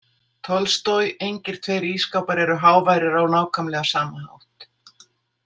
Tolstoj Engir tveir ísskápar eru háværir á nákvæmlega sama hátt.